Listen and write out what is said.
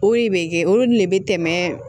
O de bɛ kɛ olu de bɛ tɛmɛ